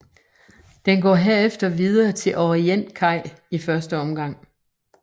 Den går herefter videre til Orientkaj i første omgang